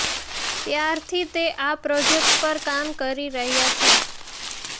ત્યારથી તે આ પ્રોજેક્ટ પર કામ કરી રહ્યા છે